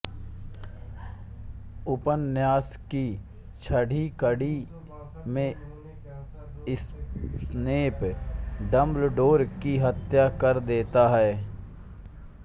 उपन्यास की छठी कड़ी में स्नेप डम्बल्डोर की हत्या कर देता है